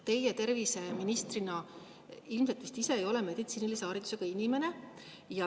Teie terviseministrina ilmselt vist ise ei ole meditsiinilise haridusega inimene.